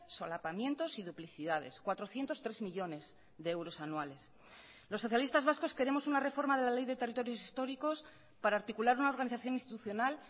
solapamientos y duplicidades cuatrocientos tres millónes de euros anuales los socialistas vascos queremos una reforma de la ley de territorios históricos para articular una organización institucional